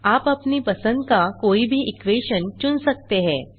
आप अपनी पसंद का कोई भी इक्वेशन चुन सकते हैं